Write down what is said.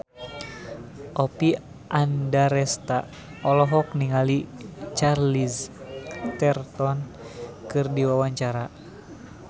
Oppie Andaresta olohok ningali Charlize Theron keur diwawancara